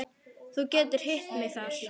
Þú getur hitt mig þar.